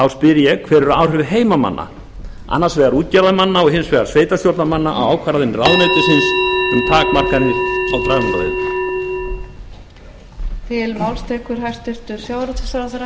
spyr ég hver eru áhrif heimamanna annars vegar útgerðarmanna og hins vegar sveitarstjórnarmanna á ákvarðanir ráðuneytisins um takmarkanir á dragnótaveiðum